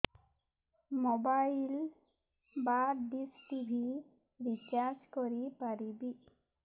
mobile ବା dish TV recharge କରି ପାରିବି